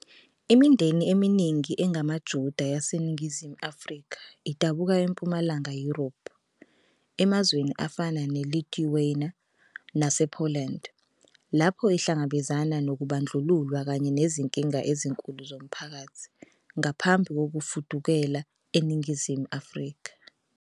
Imindeni eminingi engamaJuda yaseNingizimu Afrika idabuka eMpumalanga Yurophu, emazweni afana neLithuania nasePoland, lapho ihlangabezana nokubandlululwa kanye nezinkinga ezinkulu zomphakathi ngaphambi kokufudukela eNingizimu Afrika.